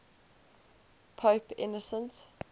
pope innocent